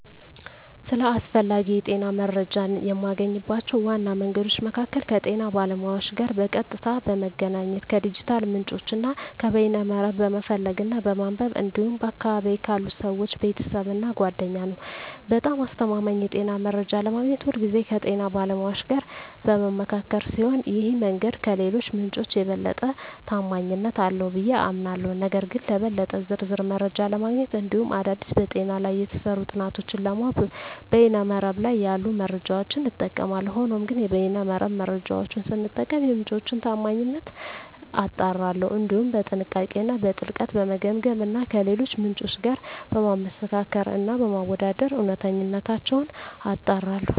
ስለ አስፈላጊ የጤና መረጃን የማገኝባቸው ዋና መንገዶች መካከል ከጤና ባለሙያዎች ጋር በቀጥታ በመገናኘት፣ ከዲጂታል ምንጮች እና ከበይነ መረብ በመፈለግ እና በማንበብ እንዲሁም በአካባቢየ ካሉ ሰወች፣ ቤተሰብ እና ጓደኛ ነዉ። በጣም አስተማማኝ የጤና መረጃ ለማግኘት ሁልጊዜ ከጤና ባለሙያዎች ጋር በምመካከር ሲሆን ይህ መንገድ ከሌሎቹ ምንጮች የበለጠ ተአማኒነት አለው ብየ አምናለሁ። ነገር ግን ለበለጠ ዝርዝር መረጃ ለማግኘት እንዲሁም አዳዲስ በጤና ላይ የተሰሩ ጥናቶችን ለማወቅ በይነ መረብ ላይ ያሉ መረጃዎችን እጠቀማለሁ። ሆኖም ግን የበይነ መረብ መረጃወቹን ስጠቀም የምንጮቹን ታአማኒነት አጣራለሁ፣ እንዲሁም በጥንቃቄ እና በጥልቀት በመገምገም እና ከሌሎች ምንጮች ጋር በማመሳከር እና በማወዳደር እውነተኝነታቸውን አጣራለሁ።